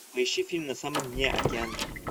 поищи фильм на самом дне океана